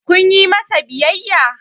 kun yi masa biyayya?